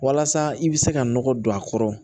Walasa i bɛ se ka nɔgɔ don a kɔrɔ